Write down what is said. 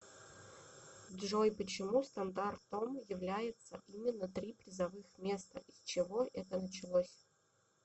джой почему стандартом является именно три призовых места и с чего это началось